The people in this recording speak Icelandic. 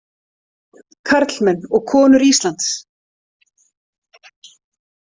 Karlmenn og konur Íslands!